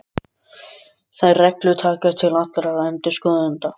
Þær reglur taka til allra endurskoðenda.